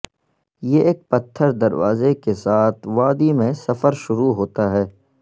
یہ ایک پتھر دروازے کے ساتھ وادی میں سفر شروع ہوتا ہے